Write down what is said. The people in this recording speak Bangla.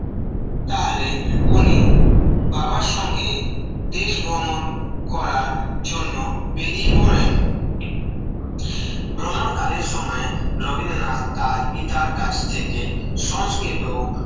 তাহলে উনি বাবার সঙ্গে দেশ ভ্রমণ করার জন্য বেরিয়ে পড়েন ভ্রমণ কালের সময় রবীন্দ্রনাথ তাঁর পিতার কাছ থেকে সংস্কৃত